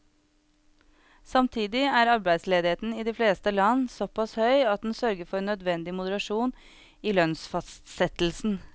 Samtidig er arbeidsledigheten i de fleste land såpass høy at den sørger for nødvendig moderasjon i lønnsfastsettelsen.